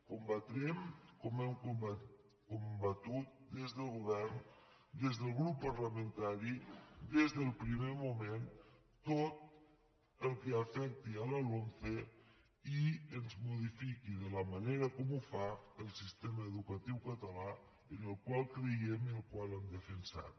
combatrem com hem combatut des del govern des del grup parlamentari des del primer moment tot el que afecti la lomce i ens modifiqui de la manera com ho fa el sistema educatiu català en el qual creiem el qual hem defensat